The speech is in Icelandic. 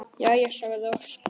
Jæja, sagði Óskar.